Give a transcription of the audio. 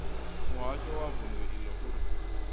muhasho wa vundu iḽo uri